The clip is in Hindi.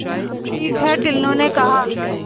ठीक है टुल्लु ने कहा